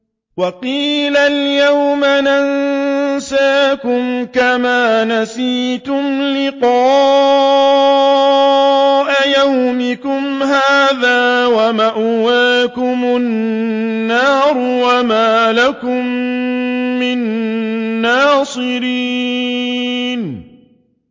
وَقِيلَ الْيَوْمَ نَنسَاكُمْ كَمَا نَسِيتُمْ لِقَاءَ يَوْمِكُمْ هَٰذَا وَمَأْوَاكُمُ النَّارُ وَمَا لَكُم مِّن نَّاصِرِينَ